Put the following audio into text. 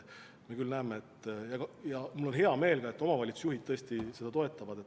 Samas me näeme ja mul on selle üle hea meel, et omavalitsusjuhid tõesti seda toetavad.